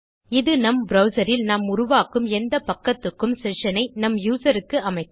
இது நம் ப்ரவ்சர் இல் நாம் உருவாக்கும் எந்த பக்கத்துக்கும் செஷன் ஐ நம் யூசர்நேம் க்கு அமைக்கும்